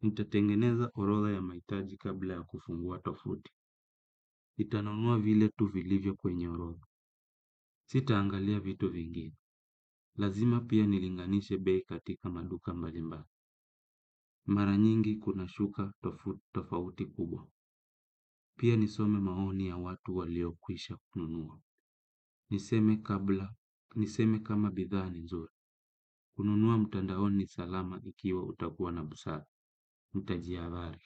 Nitatengeneza orodha ya mahitaji kabla ya kufungua tovuti nitanunua vile tu vilivyo kwenye orodha. Sitaangalia vitu vingine. Lazima pia nilinganishe bei katika maduka mbalimbali. Mara nyingi kuna shuka tofauti kubwa. Pia nisome maoni ya watu waliokwisha kununua niseme. Niseme kama bidhaa ni zuri. Kununua mtandaoni salama ikiwa utakuwa na busara nitajihadhari.